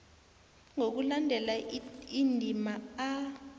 ngokulandela indima a